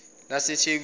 lasethekwini